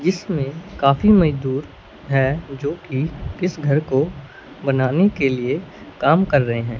जिसमें काफी मजदूर हैं जो कि इस घर को बनाने के लिए काम कर रहे हैं।